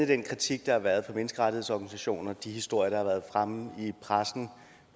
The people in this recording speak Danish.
den kritik der har været fra menneskerettighedsorganisationer og de historier der har været fremme i pressen